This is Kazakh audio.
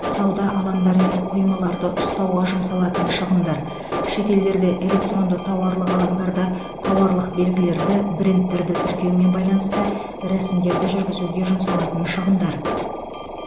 сауда алаңдары мен қоймаларды ұстауға жұмсалатын шығындар шетелдерде электронды тауарлық алаңдарда тауарлық белгілерді брендтерді тіркеумен байланысты рәсімдерді жүргізуге жұмсалатын шығындар